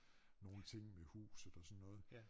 Nogle ting med huset og sådan noget